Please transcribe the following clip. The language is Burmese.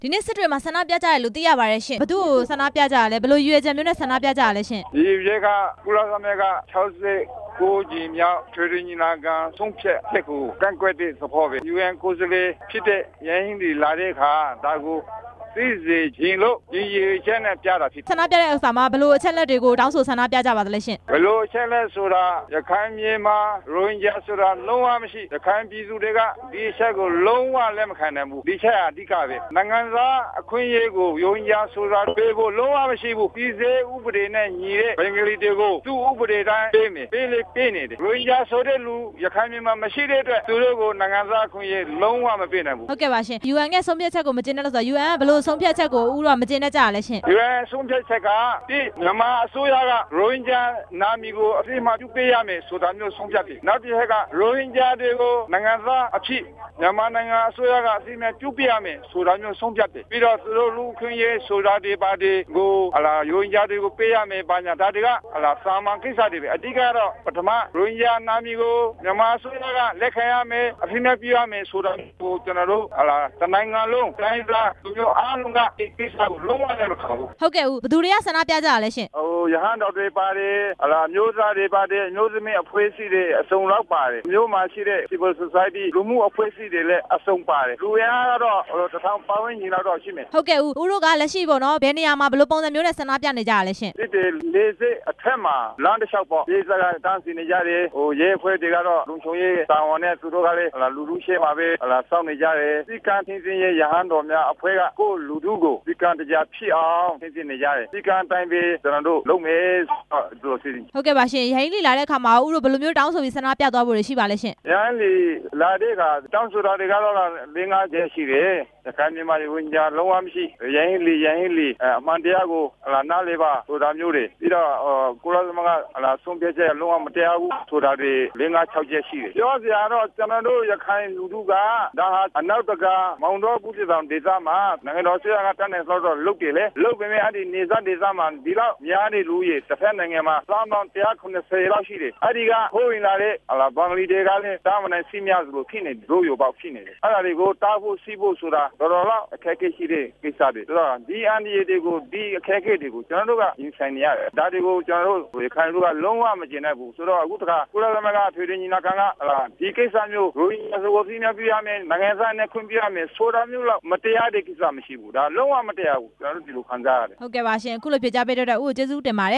ဒီနေ့ စစ်တွေမှာ ဆန္ဒပြကြတယ်လို့ သိရပါတယ်ရှင့်၊ ဘယ်သူ့ကို ဆန္ဒပြတာလဲ၊ ဘယ်လိုရည်ရွယ်ချက်မျိုးနဲ့ ပြကြတာလဲရှင့်။ ရည်ရွယ်ချက်က ကုလသမဂ္ဂ ၆၉ ကြိမ်မြောက် အထွေထွေညီလာခံ ဆုံးဖြတ်ချက်ကို ကန့်ကွက်တဲ့ သဘောပဲ၊ UN ကိုယ်စား လှယ်ဖြစ်တဲ့ ရန်ဟီးလီ လာတဲ့အခါ ဒါကိုသိစေချင်လို့ ရည်ရွယ်ချက်နဲ့ပြတာဖြစ်တယ်။ ဆန္ဒပြတဲ့အခါ ဘယ်လိုအချက်အလက်တွေကို တောင်းဆိုဆန္ဒပြကြပါလဲရှင့်။ ဘယ်လိုအချက်အလက်လဲဆိုတော့ ရခိုင်ပြည်နယ်မှာ ရိုဟင်ဂျာ ဆိုတာလုံးဝမရှိ၊ ရခိုင်ပြည်သူတွေက ဒီအချက်ကို လုံးဝလက်မခံဘူး၊ ဒီအချက်ဟာ အဓိကပဲ၊ နိုင်ငံသား အခွင့်အရေးကို ရိုဟင်ဂျာဆိုတာပေးဖို့ လုံးဝမရှိဘူး၊ ပြည်ထဲရေး ဥပဒေနဲ့ညီတဲ့ ဘင်္ဂလီတွေကို သူ့ဥပဒေတိုင်းပေးမယ်၊ ရိုဟင်ဂျာဆိုတဲ့သူ ရခိုင်ပြည်နယ်မှာမရှိတဲ့အတွက် သူတို့ကို နိုင်ငံသားအခွင့်အရေး လုံးဝမပေးနိုင်ဘူး။ UN ရဲ့ဆုံးဖြတ်ချက်ကို မကျေနပ်လို့ဆိုတော့ UN ကဘယ်လိုဆုံးဖြတ်ချက်တွေကို ဦးတို့က မကျေနပ်ကြတာလဲရှင့်။ UN ရဲ့ဆုံးဖြတ်ချက်က မြန်မာအစိုးရကရိုဟင်ဂျာ နာမည်ကို အသိအမှတ်ပြုပေးရမယ် ဆိုတာမျိုးဆုံးဖြတ်တယ်၊ နောက်တစ်ချက်က ရိုဟင်ဂျာတွေကို နိုင်ငံသားအဖြစ် မြန်မာအစိုးရက အသိအမှတ်ပြုပေးရမယ်ဆိုတာမျိုး ဆုံးဖြတ်တယ်၊ ပြီးတော့ သူတို့လူ့အခွင့်အရေးဆိုတာတွေ၊ ဘာတွေကို ရိုဟင်ဂျာတွေကို ပေးရမယ်ဆိုတာတွေ၊ အဓိက ကတော့ ရိုဟင်ဂျာနာမည်ကို မြန်မာအစိုးရ ကလက်ခံ ရမယ်၊ အသိအမှတ်ပြုရမယ်ဆိုတာတွေက ကျနော်တို့ တစ်နိုင်ငံလုံး တိုင်းရင်းသား လူမျိုးအားလုံးက ဒီကိစ္စကို လုံးဝလက်မခံဘူး၊ ဟုတ်ကဲ့ဦး၊ ဘယ်သူတွေက ဆန္ဒပြကြတာလဲရှင့်။ ရဟန်းတော်တွေပါတယ်၊ မြို့ခံတွေပါတယ်၊ အမျိုးသမီး အဖွဲ့အစည်းတွေ၊ မြို့မှာရှိတဲ့ လူမှုအဖွဲ့အစည်းတွေ အစုံပါတယ်၊ လူအင်အား ကတော့ ၁ ထောင်ပတ်ဝန်းကျင်လောက်ရှိမယ်။ ဟုတ်ကဲ့၊ ဥိးတို့က လက်ရှိပေါ့နော်၊ ဘယ်နေရာမှာ၊ ဘယ်လိုပုံစံမျိုးတွေနဲ့ ဆန္ဒပြနေကြတာလဲ လေဆိပ်အထွက်မှာ လမ်းတလျှောက်ပေါ့၊ ပရိတ်သတ်တွေ က တန်းစီနေကြတယ်၊ ရဲတွေကတော့ လုံခြုံရေးတာဝန်နဲ့ လူထုရှေ့မှာ ပဲစောင့်နေကြ တယ်၊ စည်းကမ်းထိန်းသိမ်းရေး ရဟန်းတော်များအဖွဲ့က ကိုယ့်လူထုကို စည်းကမ်း တကျဖြစ်အောင် ထိန်းသိမ်းနေကြတယ်၊ စည်းကမ်းအတိုင်းပဲ ကျနော်တို့လုပ်မယ်၊ ရန်ဟီးလီ လာတဲ့အခါမှာ ဦးတို့ဘယ်လိုမျိုးတွေ တောင်းဆိုပြီး ဆန္ဒပြသွားမလဲရှင့် ရန်ဟီးလီလာရင် တောင်းဆိုတာတွေက ၄၊ ၅ချက်ရှိတယ်၊ ရခိုင်ပြည်မှာ ရိုဟင်ဂျာ လုံးဝမရှိ၊ ရန်ဟီးလီ အမှန်တရားကို နားလည်ပါ၊ ပြီးတော့ ကုလ သမဂ္ဂ ဆုံးဖြတ်ချက်တွေ လုံးဝမတရားဘူး၊ ဆိုတာတွေရှိတယ်၊ ပြောစရာကတော့ ကျနော်တို့ ရခိုင်လူထုက ဒါဟာ မောင်တောဒေသ မှာ နိုင်ငံတော်အစိုးရက တတ်နိုင်သ လောက်တော့လုပ်တယ်လေ၊ လုပ်ပေမယ့် နယ်စပ်ဒေသမှာ ဒီလောက်များတဲ့ လူဦးရေ၊ တဖက်နိုင်ငံမှာ သန်းပေါင်း ၁၇၀ လောက်ရှိတယ်၊ အဲ့ဒီကခိုးဝင်လာတဲ့ ဘင်္ဂလီတွေ ကလဲ ထိန်းမနိုင်ဖြစ်နေပြီ အဲ့ဒါတွေကို တားဖို့၊ ဆီးဖို့ဆိုတာ တော်တော်လေးတော့ အခက်အခဲရှိတယ်၊ ဆိုတော့ ဒီအခက်အခဲတွေကို ကျနော်တို့ကရင်ဆိုင်နေရတယ်၊ ဒါတွေကို ရခိုင်လူထုက လုံးဝမကျေနပ်ဘူး၊ ဆိုတော့ အခုတစ်ခါ ကုလသမဂ္ဂ အထွေထွေညီလာ ခံက ဒီကိစ္စမျိုး ရိုဟင်ဂျာဆို နိုင်ငံသားမျိုးခွင့်ပြုရမယ်ဆိုတာတော့ မတရားဘူး၊ ကျနော်တို့ အဲ့လိုခံစားရတယ်။ ဟုတ်ကဲ့ရှင့်၊ အခုလိုဖြေကြားပေးလို့ ဦးကို ကျေးဇူးတင်ပါတယ